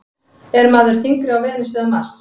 Er maður þyngri á Venus eða Mars?